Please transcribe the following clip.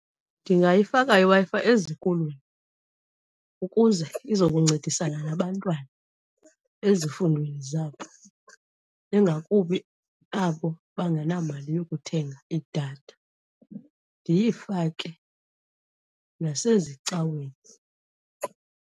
Ndingayifaka iWi-Fi ezikolweni ukuze izokuncedisana nabantwana ezifundweni zabo, ingakumbi abo bangenamali yokuthenga idatha. Ndiyifake nasezicaweni.